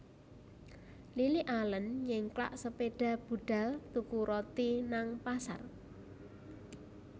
Lily Allen nyengklak sepeda budal tuku roti nang pasar